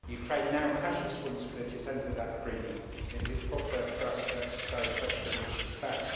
Ukraine now has responsibilities under that agreement, and it is proper for us to exercise pressure in this respect.